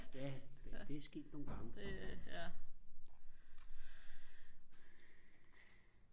ja det det er sket nogle gange